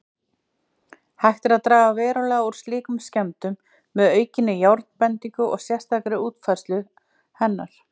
Hægt er að draga verulega úr slíkum skemmdum með aukinni járnbendingu og sérstakri útfærslu hennar.